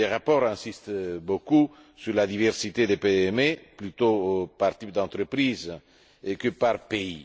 Les rapports insistent beaucoup sur la diversité des PME, plutôt par type d'entreprise que par pays.